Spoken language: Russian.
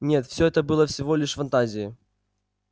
нет всё это было всего лишь фантазией